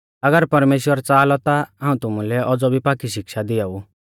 अगर परमेश्‍वर च़ाहा लौ ता हाऊं तुमुलै औज़ौ भी पाक्की शिक्षा दियाऊ